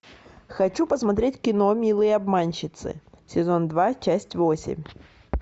хочу посмотреть кино милые обманщицы сезон два часть восемь